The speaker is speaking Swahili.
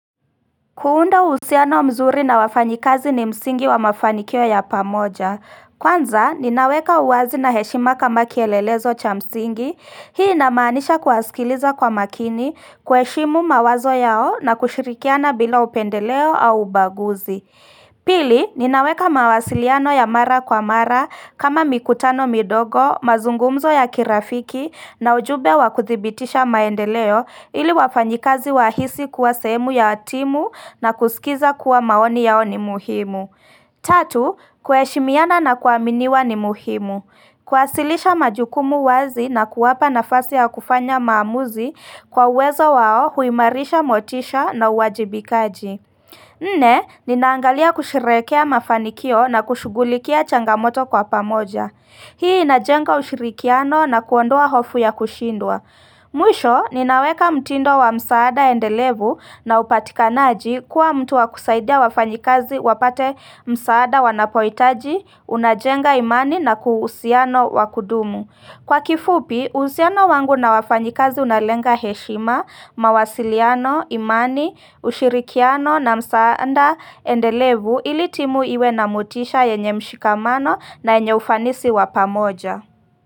Kuunda uhusiano mzuri na wafanyikazi ni msingi wa mafanikio ya pamoja. Kwanza, ninaweka uwazi na heshima kama kielelezo cha msingi. Hii inamanisha kuwasikiliza kwa makini, kuheshimu mawazo yao na kushirikiana bila upendeleo au ubaguzi. Pili, ninaweka mawasiliano ya mara kwa mara kama mikutano midogo, mazungumzo ya kirafiki na ujumbe wa kuthibitisha maendeleo ili wafanyikazi wahisi kuwa sehemu ya timu na kusikiza kuwa maoni yao ni muhimu. Tatu, kuheshimiana na kuaminiwa ni muhimu. Kuwasilisha majukumu wazi na kuwapa nafasi ya kufanya maamuzi kwa uwezo wao huimarisha motisha na uwajibikaji. Nne, ninaangalia kusherehekea mafanikio na kushugulikia changamoto kwa pamoja. Hii inajenga ushirikiano na kuondoa hofu ya kushindwa. Mwisho, ninaweka mtindo wa msaada endelevu na upatikanaji kuwa mtu wa kusaidia wafanyikazi wapate msaada wanapoitaji, unajenga imani na uhusiano wakudumu. Kwa kifupi, uhusiano wangu na wafanyikazi unalenga heshima, mawasiliano, imani, ushirikiano na msaada endelevu ili timu iwe na mutisha yenye mshikamano na yenye ufanisi wapamoja.